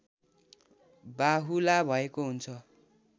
बाहुला भएको हुन्छ